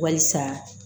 Wasa